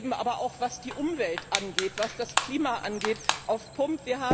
Wir leben aber auch, was die Umwelt und was das Klima angeht, auf Pump.